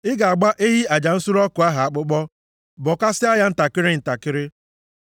Ị ga-agba ehi aja nsure ọkụ ahụ akpụkpọ, bọkasịa ya ntakịrị ntakịrị.